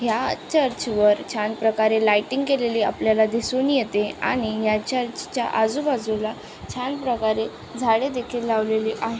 या चर्च वर छान प्रकारे लायटिंग केलेली आपल्याला दिसून येते आणि या चर्च च्या आजूबाजूला छान प्रकारे झाडे देखील लावलेली आहे.